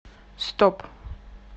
стоп